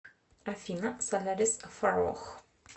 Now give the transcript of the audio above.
афина солярис фараох